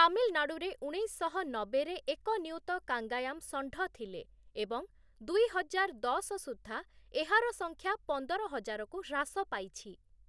ତାମିଲନାଡ଼ୁରେ ଉଣେଇଶଶହ ନବେରେ ଏକ ନିୟୁତ କଙ୍ଗାୟାମ ଷଣ୍ଢ ଥିଲେ ଏବଂ ଦୁଇ ହଜାର ଦଶ ସୁଦ୍ଧା ଏହାର ସଂଖ୍ୟା ପନ୍ଦର ହଜାରକୁ ହ୍ରାସ ପାଇଛି ।